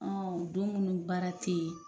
Ɔn don mun ni baara te yen